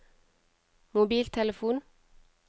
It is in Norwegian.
mobiltelefon